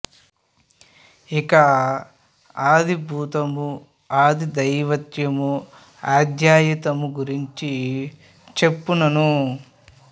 ఇక ఆది భూతము ఆది దైవతము ఆధ్యాత్మము గురించి చెప్తున్నాను